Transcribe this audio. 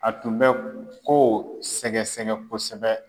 A tun bɛ ko sɛgɛsɛgɛ kosɛbɛ.